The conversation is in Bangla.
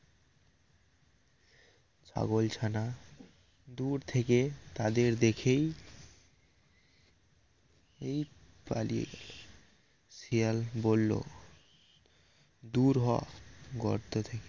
ছাগলছানা দূর থেকেই তাদের দেখেই এই পালিয়ে শিয়াল বলল দূর হ গর্ত থেকে